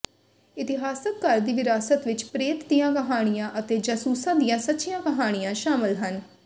ਇਤਿਹਾਸਕ ਘਰ ਦੀ ਵਿਰਾਸਤ ਵਿਚ ਪ੍ਰੇਤ ਦੀਆਂ ਕਹਾਣੀਆਂ ਅਤੇ ਜਾਸੂਸਾਂ ਦੀਆਂ ਸੱਚੀਆਂ ਕਹਾਣੀਆਂ ਸ਼ਾਮਲ ਹਨ